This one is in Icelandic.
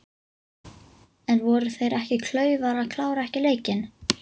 En voru þeir ekki klaufar að klára ekki leikinn?